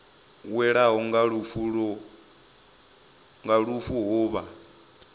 welwaho nga lufu ho vha